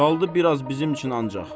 Qaldı biraz bizim üçün ancaq.